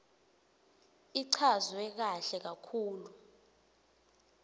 ichazwe kahle kakhulu